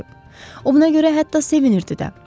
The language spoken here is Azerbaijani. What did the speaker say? O buna görə hətta sevinirdi də.